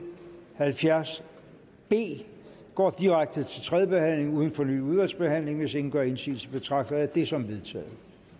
halvfjerds b går direkte til tredje behandling uden fornyet udvalgsbehandling hvis ingen gør indsigelse betragter jeg det som vedtaget